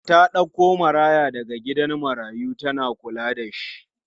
Ta ɗauko maraya daga gidan marayu tana kulla da shi.